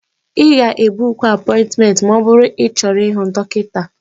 Ị ga-ebuku apointmenti ma ọ bụrụ na ịchọrọ ịhụ dọkịta.